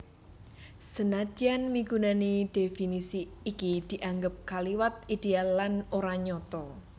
Senadyan migunani definisi iki dianggep kaliwat idéal lan ora nyata